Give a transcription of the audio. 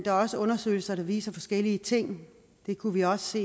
er også undersøgelser der viser forskellige ting det kunne vi også